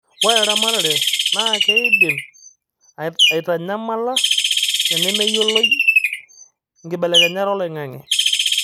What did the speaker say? ore eramatare naa keidim aitanyamala tenemeyioloi inkibelekenyat oloing'ang'e